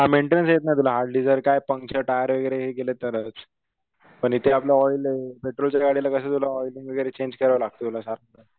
हा मेंटेनन्स येत नाही तुला हार्डली जर काही पंक्चर टायर वगैरे गेलं तरच. पण इथं आपलं ऑइले पेट्रोलच्या गाडीला कस तुला ऑइलिंग वगैरे चेंज करावं लागत तुला सारखं.